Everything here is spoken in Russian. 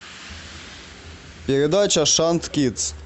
передача шант кидс